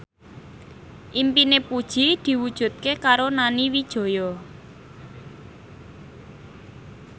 impine Puji diwujudke karo Nani Wijaya